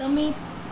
તમે